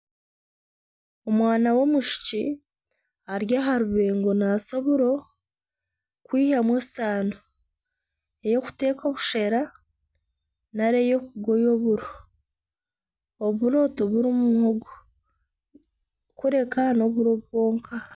Omwana y'omwishiki ari aha rubengo naasa oburo kwihamu esaano eyokuteeka obushera nari eyokugoya oburo. Oburo tibirimu muhogo kureka n'oburo bwonka.